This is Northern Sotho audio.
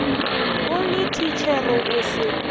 o le thitšhere o se